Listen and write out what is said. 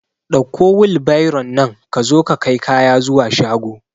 Ɗauko wilbairon nan ka zo ka kai kaya zuwa shago